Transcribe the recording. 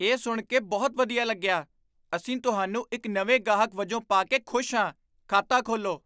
ਇਹ ਸੁਣ ਕੇ ਬਹੁਤ ਵਧੀਆ ਲੱਗਿਆ! ਅਸੀਂ ਤੁਹਾਨੂੰ ਇੱਕ ਨਵੇਂ ਗਾਹਕ ਵਜੋਂ ਪਾ ਕੇ ਖੁਸ਼ ਹਾਂ। ਖਾਤਾ ਖੋਲ੍ਹੋ